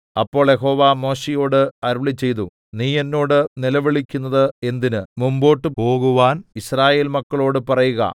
അപ്പോൾ യഹോവ മോശെയോട് അരുളിച്ചെയ്തു നീ എന്നോട് നിലവിളിക്കുന്നത് എന്തിന് മുമ്പോട്ടു പോകുവാൻ യിസ്രായേൽ മക്കളോടു പറയുക